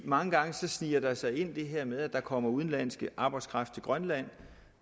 mange gange sniger der sig det her ind med at der kommer udenlandsk arbejdskraft til grønland